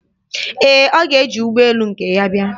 Ee, ọ ga-eji ụgbọ elu nke ya bịa.